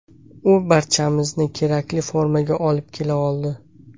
U barchamizni kerakli formaga olib kela oldi.